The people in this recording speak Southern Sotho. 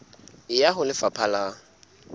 e ya ho lefapha la